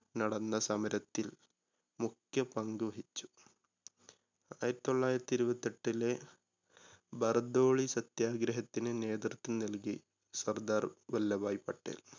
നടന്ന സമരത്തിൽ മുഖ്യ പങ്ക് വഹിച്ചു. ആയിരത്തി തൊള്ളായിരത്തി ഇരുപത്തെട്ടിലെ ബർദോളി സത്യാഗ്രഹത്തിന് നേതൃത്വം നൽകി സർദാർ വല്ലഭായി പട്ടേൽ.